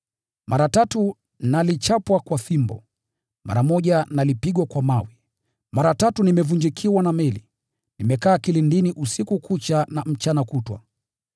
Mara tatu nilichapwa kwa fimbo, mara moja nilipigwa kwa mawe, mara tatu nimevunjikiwa na meli, nimekaa kilindini usiku kucha na mchana kutwa,